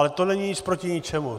Ale to není nic proti ničemu.